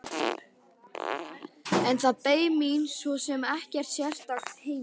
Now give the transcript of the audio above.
En það beið mín svo sem ekkert sérstakt heima.